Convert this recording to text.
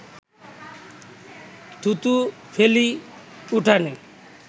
থুতু ফেলি উঠোনে